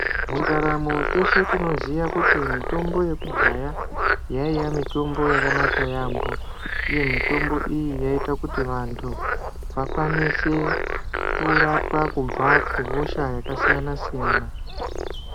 Mundaramo teshe tinoziya kuti mitombo yekudhaya, yaiya mitombo yakanaka yaampho, uye mitombo iyi yaiita kuti vantu vakwanise kurapwa kubva, kuhosha yakasiyana-siyana